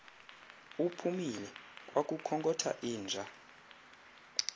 uphumile kwakukhonkotha inja